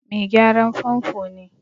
Mai gyaran famfo ne.